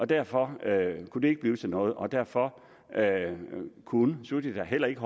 derfor kunne det ikke blive til noget og derfor kunne suthida heller ikke